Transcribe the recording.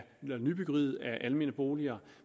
nybyggeriet af almene boliger